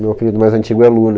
Meu apelido mais antigo é Lu, né?